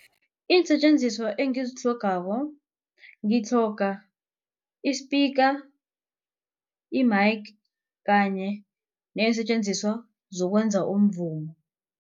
Iinsetjenziswa engizitlhogako ngitlhoga isipika, i-mike kanye neensetjenziswa zokwenza umvumo.